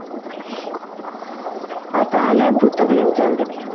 ହଁ ତାହାଲେ ଭୁତ film ଚାଲ ଦେଖିବା